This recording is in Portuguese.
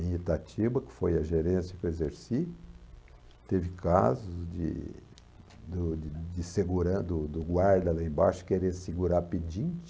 Em Itatiba, que foi a gerência que eu exerci, teve casos de do de seguran do do guarda lá embaixo querer segurar pedinte.